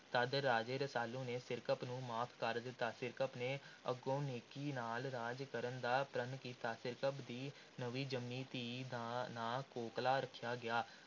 ਤਦ ਰਾਜੇ ਰਸਾਲੂ ਨੇ ਸਿਰਕੱਪ ਨੂੰ ਮਾਫ਼ ਕਰ ਦਿੱਤਾ। ਸਿਰਕੱਪ ਨੇ ਅੱਗੋਂ ਨੇਕੀ ਨਾਲ ਰਾਜ ਕਰਨ ਦਾ ਪ੍ਰਣ ਕੀਤਾ। ਸਿਰਕੱਪ ਦੀ ਨਵੀਂ ਜੰਮੀ ਧੀ ਦਾ ਨਾਂ ਕੋਕਲਾਂ ਰੱਖਿਆ ਗਿਆ।